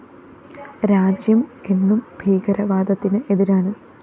രാജ്യം എന്നും ഭീകരവാദത്തിന് എതിരാണ്